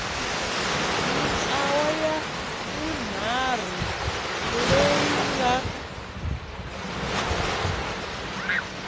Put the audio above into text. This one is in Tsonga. mintlawa ya vunharhu leyi nga